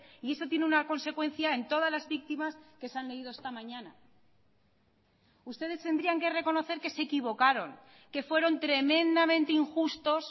y eso tiene una consecuencia en todas las víctimas que se han leído esta mañana ustedes tendrían que reconocer que se equivocaron que fueron tremendamente injustos